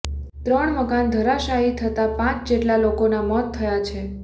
ત્રણ મકાન ધરાશાયી થતા પાંચ જેટલા લોકોના મોત થયા છે